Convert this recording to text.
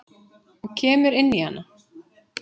Og kemur inn í hana.